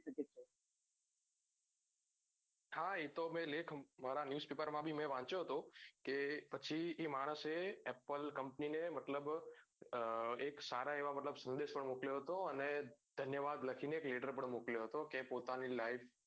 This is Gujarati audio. હા એતો લેખ મારા news paper માં વાંચ્યો હતો કે પછી એ માણસે apple company ને મતલબ એક સારા એવા સંદેશો મોકલ્યો હતો અને ધન્યવાદ લકીને એક latter પણ મોકલ્યો હતો પોતાની life